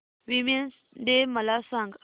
women's day मला सांग